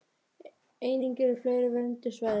Einnig eru fleiri vernduð svæði.